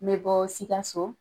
N be bɔ Sikaso.